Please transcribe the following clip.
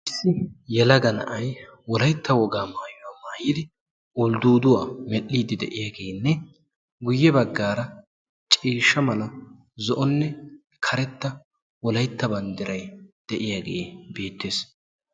yelaga na'ay wolaytta wogaa maayuwaa mayidi uldduduwaa medhdhidi de'iyaagenne guyye baggaara ciishsha mala zo''onne karetta wolaytta banddiray de'iyaagee beettees.